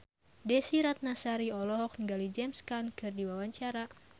Desy Ratnasari olohok ningali James Caan keur diwawancara